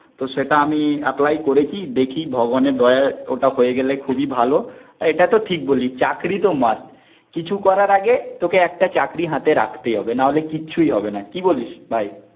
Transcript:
তো সেটা আমি অ্যাপ্লাই করেছি, দেখি ভগবানের দয়ায় ওটা হয়ে গেলে খুবই ভালো, এটা তো ঠিক বললি. চাকরি তো মাস্ট, কিছু করার আগে তোকে একটা চাকরি হাতে রাখতেই হবে, নাহলে কিচ্ছুই হবে না. কি বলিস? ভাই